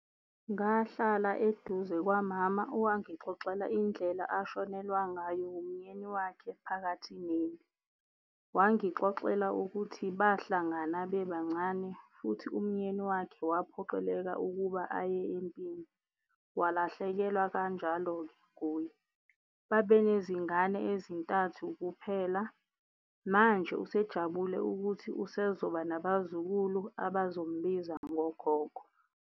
Ngahlala eduze kwamama owangixoxela indlela ashonelwa ngayo umyeni wakhe phakathi nempi. Wangixoxela ukuthi bahlangana bebancane futhi umyeni wakhe waphoqeleka ukuba aye empini, walahlekelwa kanjalo-ke nguye. Babenezingane ezintathu kuphela, manje usejabule ukuthi usezoba nabazukulu abazombiza ngogogo.